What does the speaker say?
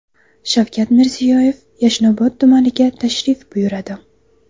Shavkat Mirziyoyev Yashnobod tumaniga tashrif buyuradi.